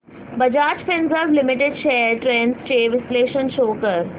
Bajaj Finserv limited shares trends चे विश्लेषण show कर